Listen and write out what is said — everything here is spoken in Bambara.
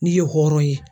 N'i ye hɔrɔn ye